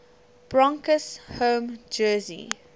broncos home jersey